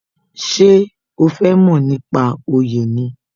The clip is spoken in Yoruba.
Ṣé o fẹ mo nípa oyè ni?